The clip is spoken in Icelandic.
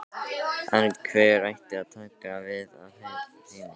En hver ætti að taka við af Heimi?